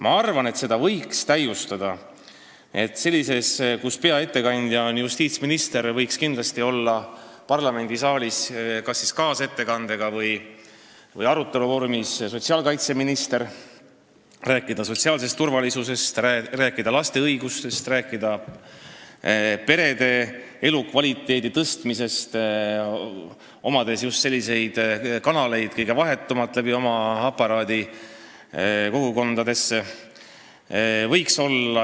Ma arvan, et seda formaati võiks täiustada selliselt, et kui peaettekandja on justiitsminister, siis võiks kindlasti parlamendisaalis kas kaasettekandega esineda või arutelus osaleda sotsiaalkaitseminister ja rääkida sotsiaalsest turvalisusest, laste õigustest, perede elukvaliteedi parandamisest, sest tal on oma aparaadi tõttu just kõige vahetumad kanalid, mis ulatuvad kogukondadesse.